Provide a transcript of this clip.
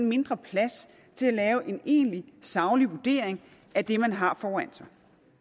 mindre plads til at lave en egentlig saglig vurdering af det man har foran sig